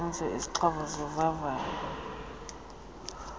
zisenziwa izixhobo zovavanyo